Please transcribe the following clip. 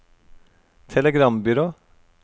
telegrambyrå